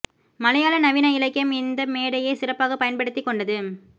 மலையாள நவீன இலக்கியம் இந்த மேடையை சிறப்பாகப் பயன்படுத்திக் கொண்டது